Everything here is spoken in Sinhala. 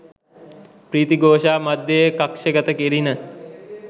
ප්‍රීති ඝෝෂා මධ්‍යයේ කක්ෂගත කෙරිණ